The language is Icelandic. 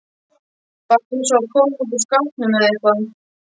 Bara eins og að koma út úr skápnum eða eitthvað.